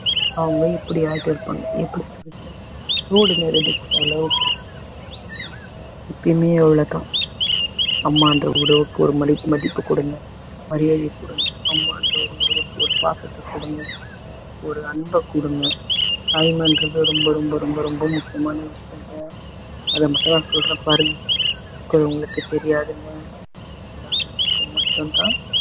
அம்மான்ற ஒரு உறவுக்கு ஒரு பாசத்த கொடுங்க ஒரு அன்ப கொடுங்க தாய்மைன்றது ரொம்ப ரொம்ப ரொம்ப ரொம்ப முக்கியமான விஷயங்க அது மட்டும் நான் சொல்றேன் பாருங்க அது உங்களுக்கு தெரியாதுங்க இல்லாதவங்களுக்கு மட்டும் தான்